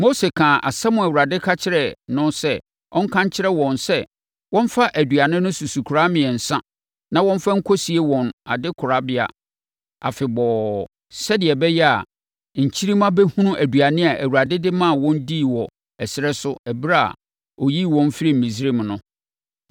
Mose kaa asɛm a Awurade ka kyerɛɛ no sɛ ɔnka nkyerɛ wɔn sɛ wɔmfa aduane no susukoraa mmiɛnsa na wɔmfa nkɔsie wɔn adekorabea afebɔɔ sɛdeɛ ɛbɛyɛ a, nkyirimma bɛhunu aduane a Awurade de maa wɔn dii wɔ ɛserɛ so ɛberɛ a ɔyii wɔn firii Misraim no.